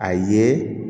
A ye